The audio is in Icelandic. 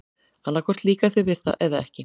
Annað hvort líkar þér við það eða ekki.